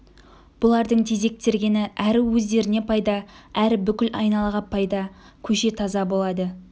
бұлардың тезек тергені әрі өздеріне пайда әрі бүкіл айналаға пайда көше таза болады